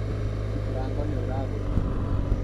Mũrango nĩũragũthagũthwo